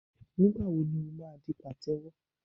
Nígbà wo ni ó máa di pàtẹ́wọ́?